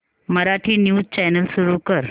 Marathi news channel सुरू कर